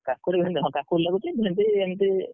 କାକୁଡି, ଭେଣ୍ଡି ହଁ କାକୁଡି ଲାଗୁଛି ଭେଣ୍ଡି ଏମିତି,